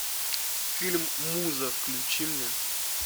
фильм муза включи мне